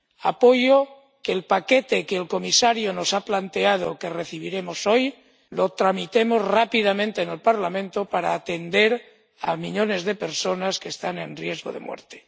Apoyo que el paquete que el comisario nos ha planteado, que recibiremos hoy, lo tramitemos rápidamente en el Parlamento, para atender a millones de personas que están en riesgo de muerte.